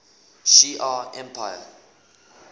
shi ar empire